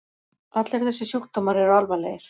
Allir þessir sjúkdómar eru alvarlegir.